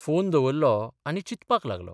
Phone दवरलो आनी चिंतपाक लागलों.